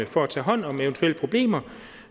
for at tage hånd om eventuelle problemer